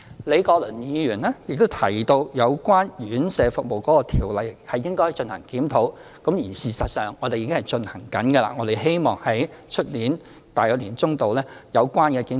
李國麟議員提到有關院舍服務的條例應進行檢討，事實上，我們已正在進行工作，希望明年年中左右完成有關的檢討。